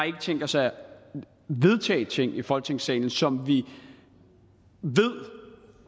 tænkt os at vedtage ting i folketingssalen som vi ved